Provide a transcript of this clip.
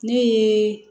Ne ye